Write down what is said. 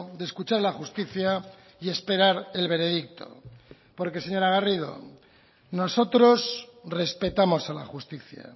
de escuchar a la justicia y esperar el veredicto porque señora garrido nosotros respetamos a la justicia